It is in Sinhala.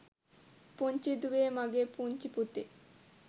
පුංචි දුවේ මගෙ පුංචි පුතේ